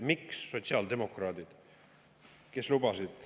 Miks sotsiaaldemokraadid, kes lubasid …